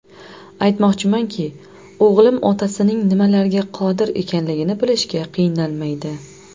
Aytmoqchimanki, o‘g‘lim otasining nimalarga qodir ekanligini bilishga qiynalmaydi.